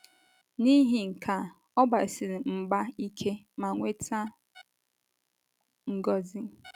N’ihi nke a, ọ gbasiri mgba ike ma nweta ngọzi.